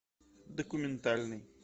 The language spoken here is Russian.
документальный